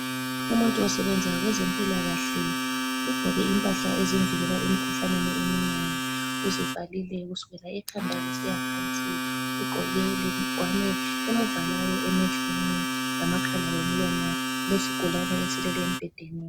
Umuntu osebenza kwezempilakahle, ugqoke impahla ezimvikela emkhuhlaneni eminengi. Uzivalile kusukela ekhanda kusiyaphansi. Ugqoke lengwane emvalayo emehlweni, lamakhala lomlomo. Kulesigulane esilele embhedeni.